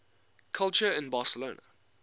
culture in barcelona